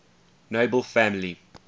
nobel family